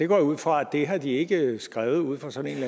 går ud fra at det har de ikke skrevet ud fra sådan en